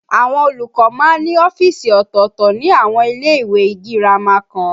Àwọn olùkọ́ máa ń ní ọ́fíìsì ọ̀tọ̀ọ̀tọ̀ ní àwọn ilé ìwé girama kan